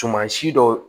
Sumansi dɔ